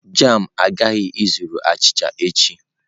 Jam agaghị ezuru achịcha echi.